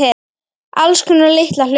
Alls konar litla hluti.